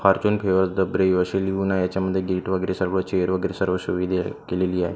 असे लिहून आहे याच्या मध्ये गेट वगैरे सर्व चेयर वगैरे सर्व आहे केलेली आहे.